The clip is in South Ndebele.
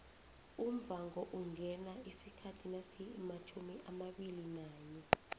umvhango ungena isikhathi nasimatjhumiabilinanye